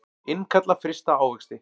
Innkalla frysta ávexti